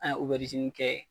A oberizini kɛ